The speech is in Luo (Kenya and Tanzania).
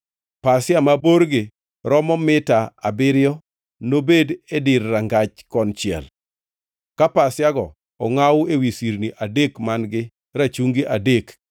Pasia ma borgi romo mita abiriyo nobed e dir rangach konchiel, ka pasiago ongʼaw ewi sirni adek man-gi rachungi adek;